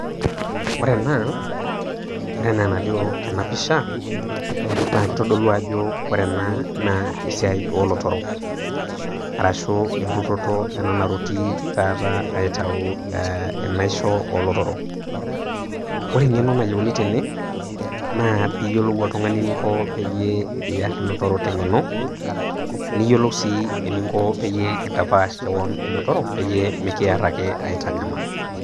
Ore ena, ore enaa enalio tenapisha, kitodolu ajo ore ena naa esiai olotorok. Arashu erutoto ena naruti taata aitayu enaisho olotorok. Ore eng'eno nayieuni tene, naa piyiolou oltung'ani eninko peyie iyar ilotorok teng'eno, niyiolou si eninko peyie intapaash keon ilotorok, peyie mikiar ake aitanyamal.